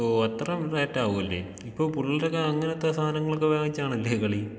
ഓഹ് അത്ര റേറ്റ് ആവുമല്ലേ? ഇപ്പൊ പുള്ളേരൊക്കെ അങ്ങനത്തെ സാധനങ്ങളൊക്കെ വെച്ചാണല്ലേ കളീ.